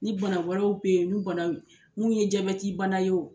Ni bana wɛrɛw be yen , n'u bana n'u ye jabɛti bana ye wo